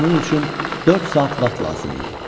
Bunun üçün dörd saat vaxt lazım idi.